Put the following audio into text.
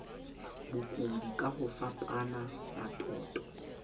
bokudi ka ho fapafapana matoto